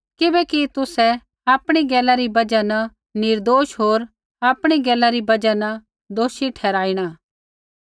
किबैकि तुसै आपणी गैला री बजहा न निर्दोष होर आपणी गैला री बजहा न दोषी ठहराईणा